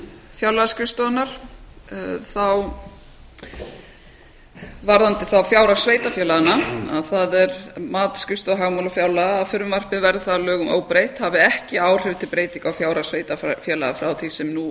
fjárlagaskrifstofunnar varðandi fjárhag sveitarfélaganna að það er mat skrifstofu og fjármála að frumvarpið verði þá að lögum óbreytt hafi ekki áhrif til breytinga á fjárhag sveitarfélaga frá því sem nú